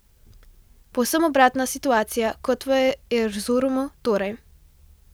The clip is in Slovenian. Povsem obratna situacija kot v Erzurumu torej.